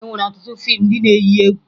E nwere ọtụtụ fiimu ndị na-eyi egwu